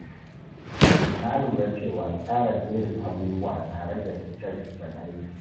Na lura cewa tsara jerin abubuwa na rage rikice-rikicen aiki.